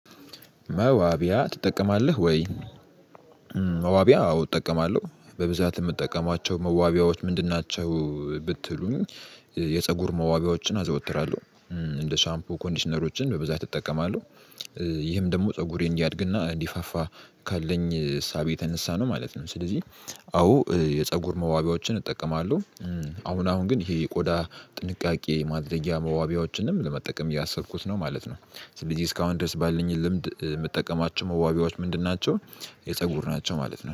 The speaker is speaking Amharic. መዋቢያ ትጠቀማለህ ወይ? መዋቢያ አዎ እጠቀማለሁ። በብዛት የምጠቀማቸው መዋቢያዎች ምንድን ናቸው? ብትሉኝ የፀጉር መዋቢያዎችን አዘወትራለሁ እንደ ሻምፑ ኮንዲሽነሮችን በብዛት እጠቀማለሁ። ይህም ደግሞ ፀጉሬን እንዲያድግና እንዲፋፋ ካለኝ ሳቤ የተነሳ ነው ማለት ነው። ስለዚህ አዎ የፀጉር መዋቢያዎችን እጠቀማለሁ። አሁን አሁን ግን ይሄ ቆዳ ጥንቃቄ ማድረግያ መዋቢያዎችንም ለመጠቀም ያሰብኩት ነው ማለት ነው። ስለዚህ እስካሁን ድረስ ባልኝ ልምድ ምጠቀማቸው መዋቢያዎች ምንድን ናቸው የፀጉር ናቸው ማለት ነው።